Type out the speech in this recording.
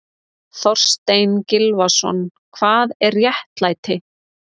Þorstein Gylfason, Hvað er réttlæti?